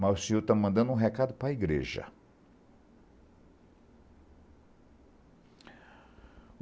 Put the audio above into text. mas o senhor está mandando um recado para a igreja.